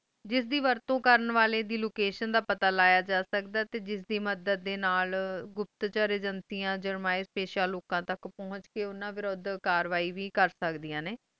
ਜਿਸ ਦੀ ਵਰਤੋਂ ਕਰੰਡ ਵਾਲੇ ਦੀ location ਦਾ ਪਤਾ ਲਾਯਾ ਜਾ ਸਕਦਾ ਆਈ ਤੇ ਜਿਸ ਦੀ ਮਦਦ ਡੇ ਨਾਲ ਗੁਪਤਚਰ ਏਜੇਂਸੀਆਂ ਜੁਰਮਾਇਸ਼ ਪੇਸ਼ ਲੂਕਾਂ ਤਕ ਪੁਹੰਚ ਕ ਉਨ੍ਹਾਂ ਵਿਰੋਧ ਕਰਵਾਏ ਵੇ ਕੁਰ ਸਕਦੀਆਂ ਨੇ